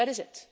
future. That